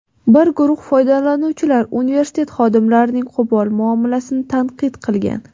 Bir guruh foydalanuvchilar universitet xodimlarining qo‘pol muomalasini tanqid qilgan.